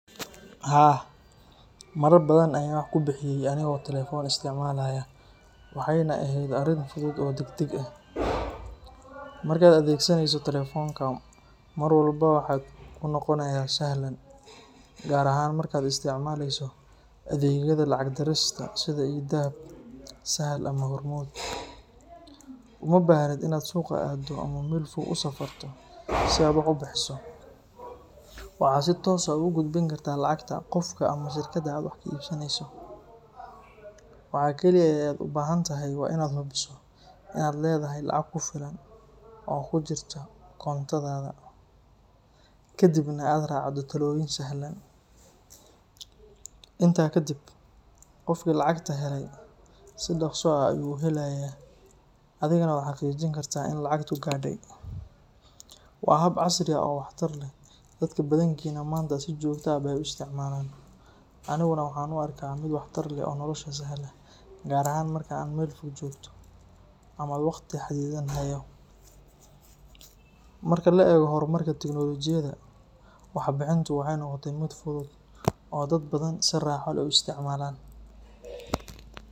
Haa, marar badan ayaan wax ku bixiyay anigoo telefoon isticmaalaya, waxayna ahayd arrin fudud oo degdeg ah. Marka aad adeegsanayso telefoonka, wax walba waxay kuu noqonayaan sahlan, gaar ahaan marka aad isticmaalayso adeegyada lacag dirista sida e-dahab, Sahal ama Hormuud. Uma baahnid inaad suuqa aaddo ama meel fog u safarto si aad wax u bixiso, waxaad si toos ah ugu gudbin kartaa lacagta qofka ama shirkadda aad wax ka iibsanayso. Waxa kaliya ee aad u baahan tahay waa inaad hubiso in aad leedahay lacag ku filan oo ku jirta koontadaada, kadibna aad raacdo tallaabooyin sahlan. Intaa kadib, qofkii lacagta helayay si dhakhso ah ayuu u helayaa, adiguna waad xaqiijin kartaa in lacagtu gaadhay. Waa hab casri ah oo waxtar leh, dadka badankiina maanta si joogto ah bay u isticmaalaan. Aniguna waxaan u arkaa mid waxtar leh oo nolosha sahla, gaar ahaan marka aad meel fog joogto ama waqti xaddidan hayo. Marka la eego horumarka tiknoolajiyadda, wax bixintu waxay noqotay mid fudud oo dad badani si raaxo leh u isticmaalaan.